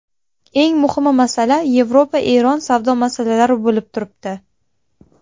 Eng muhim masala Yevropa–Eron savdo masalasi bo‘lib turibdi.